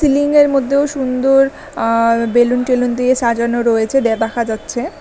সিলিংয়ের মধ্যেও সুন্দর আ বেলুন টেলুন দিয়ে সাজানো রয়েছে দিয়ে দেখা যাচ্ছে।